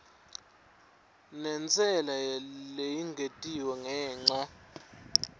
nentsela leyengetiwe ngenca